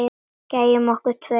Gæjunum okkar tveim.